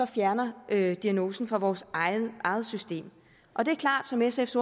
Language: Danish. fjerner diagnosen fra vores eget system og det er klart som sfs